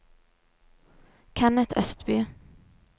Kenneth Østby